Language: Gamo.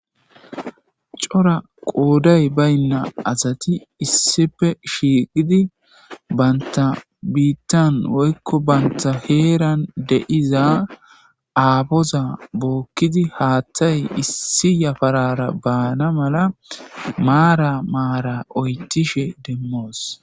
Cora qooday baynna asati issippe shiiqidi banta biittan woykko banta heeran de7iza aapoza bookkidi haaththay issi yaparara baana mala maara maara oyththishen demmoos.